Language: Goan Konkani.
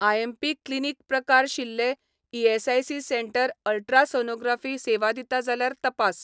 आयएमपी क्लिनीक प्रकार शिल्लें ईएसआयसी सेंटर अल्ट्रासोनोग्राफी सेवा दिता जाल्यार तपास.